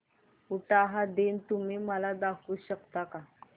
उटाहा दिन तुम्ही मला दाखवू शकता का